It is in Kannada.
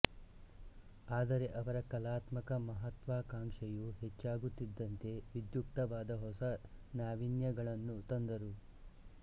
ಆದರೆ ಅವರ ಕಲಾತ್ಮಕ ಮಹತ್ವಾಕಾಂಕ್ಷೆಯು ಹೆಚ್ಚಾಗುತ್ತಿದ್ದಂತೆ ವಿಧ್ಯುಕ್ತವಾದ ಹೊಸ ನಾವೀನ್ಯಗಳನ್ನು ತಂದರು